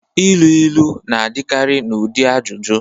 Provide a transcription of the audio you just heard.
Ilu ilu na-adịkarị n'ụdị ajụjụ